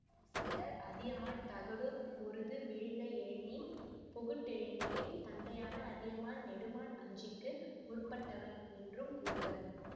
சிலர் அதியமான் தகடூர் பொருது வீழ்ந்த எழினி பொகுட்டெழினியின் தந்தையான அதியமான் நெடுமான் அஞ்சிக்கு முற்பட்டவன் என்றும் கூறுவர்